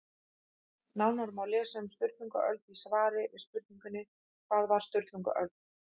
Nánar má lesa um Sturlungaöld í svari við spurningunni Hvað var Sturlungaöld?